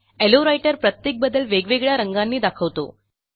low writer प्रत्येक बदल वेगवेगळ्या रंगानी दाखवतो